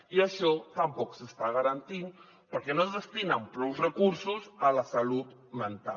i això tampoc s’està garantint perquè no es destinen prous recursos a la salut mental